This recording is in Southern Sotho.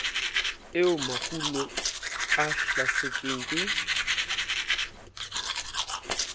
eo makgulo a hlasetsweng ke